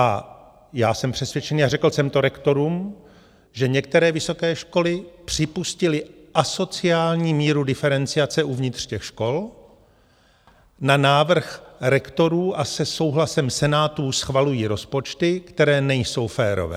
A já jsem přesvědčený a řekl jsem to rektorům, že některé vysoké školy připustily asociální míru diferenciace uvnitř těch škol, na návrh rektorů a se souhlasem senátů schvalují rozpočty, které nejsou férové.